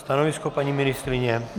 Stanovisko paní ministryně?